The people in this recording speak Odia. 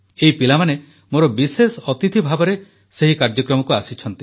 ଏହି ପିଲାମାନେ ମୋର ବିଶେଷ ଅତିଥି ଭାବରେ ସେହି କାର୍ଯ୍ୟକ୍ରମକୁ ଆସିଛନ୍ତି